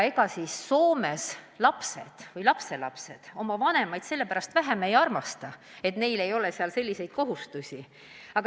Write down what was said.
Ega siis Soomes lapsed ja lapselapsed oma vanemaid ja vanavanemaid vähem ei armasta, aga neil ei ole seal selliseid kohustusi.